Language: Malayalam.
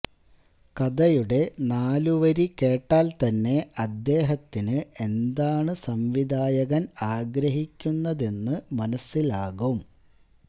കഥയുടെ നാലുവരി കേട്ടാൽ തന്നെ അദ്ദേഹത്തിന് എന്താണ് സംവിധായകൻ ആഗ്രഹിക്കുന്നതെന്ന് മനസിലാകും